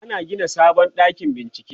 ana Gina sabon ɗakin bincike